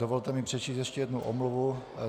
Dovolte mi přečíst ještě jednu omluvu.